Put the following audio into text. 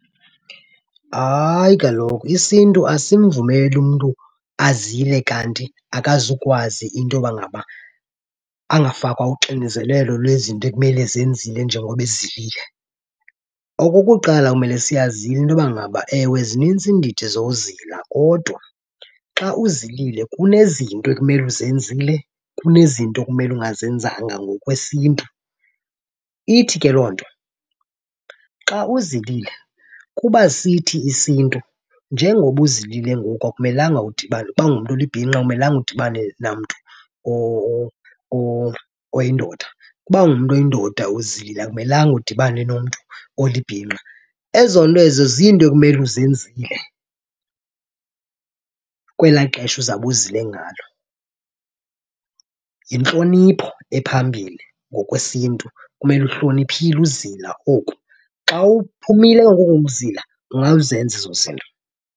Hayi kaloku, isiNtu asimvumeli umntu azile kanti akazukwazi into yoba ngaba angafakwa uxinizelelo lwezinto ekumele ezenzile njengoba ezilile. Okokuqala, kumele siyazile into yoba ngaba ewe zinintsi iindidi zowuzila kodwa xa uzilile kunezinto ekumele uzenzile kunezinto okumele ungazenzanga ngokwesiNtu. Ithi ke loo nto, xa uzilile kuba sithi isiNtu njengoba uzilile ngoku akumelanga udibane, uba ungumntu olibhinqa awumelanga udibane namntu oyindoda, ukuba ungumntu oyindoda uzilile akumelanga udibane nomntu olibhinqa. Ezo nto ezo ziinto ekumele uzenzile kwelaa xesha uzawube uzile ngalo. Yintlonipho ephambili ngokwesiNtu, kumele uhloniphile uzila oku. Xa uphumile ke ngoku koko kuzila ungazenza ezo zinto.